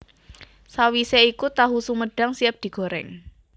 Sawisé iku tahu sumedhang siap digoréng